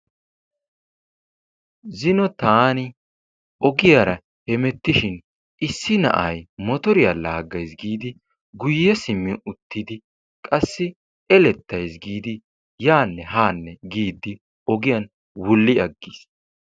zino taani ogiyara hemetishi issi na'ay motoriya laagay giidi guye simmi utidi eletays giidi yaanne haanne giidi ogiyan wulli agiis.